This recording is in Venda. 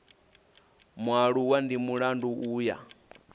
mualuwa ndi mulandu u ya